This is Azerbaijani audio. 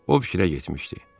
O fikrə getmişdi.